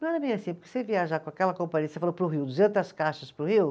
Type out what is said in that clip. Não era bem assim, porque você viajar com aquela companhia, você falou para o Rio, duzentas caixas para o Rio?